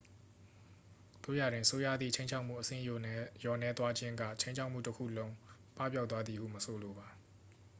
သို့ရာတွင် ဆိုးရွားသည့် ခြိမ်းခြောက်မှု အဆင့်လျော့နည်းသွားခြင်းက ခြိမ်းခြောက်မှုတစ်ခုလုံး ပပျောက်သွားသည်ဟု မဆိုလိုပါ